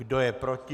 Kdo je proti?